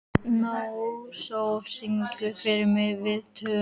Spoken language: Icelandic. Náttsól, syngdu fyrir mig „Við tvö“.